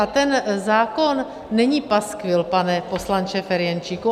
A ten zákon není paskvil, pane poslanče Ferjenčíku.